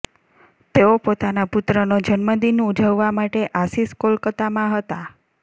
તેઓ પોતાના પુત્રનો જન્મદિન ઉજવવા માટે આશિષ કોલકાતામાં હતા